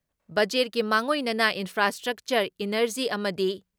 ꯕꯖꯦꯠꯀꯤ ꯃꯥꯡꯑꯣꯏꯅꯅ infrastructure, energy ꯑꯃꯗꯤ